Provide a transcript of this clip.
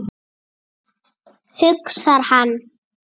hugsar hann.